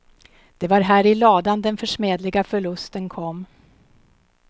Det var här i ladan den försmädliga förlusten kom.